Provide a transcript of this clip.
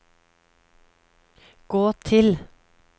gå til